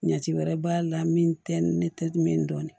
Ɲɛti wɛrɛ b'a la min tɛ ne tɛ min dɔn